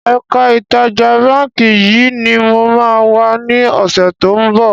Ẹ̀ka ìtajà báńkì yìí ni mo máa wà ní ọ̀sẹ̀ to ń bọ̀.